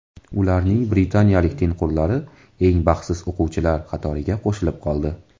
Ularning britaniyalik tengqurlari eng baxtsiz o‘quvchilar qatoriga qo‘shilib qoldi.